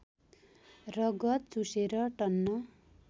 रगत चुसेर टन्न